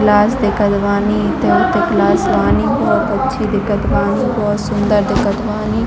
Class दिखत बानी इथे-उथे क्लास बानी बोहत अच्छी दिखत बानी बोहत सुन्दर दिखत बानी ।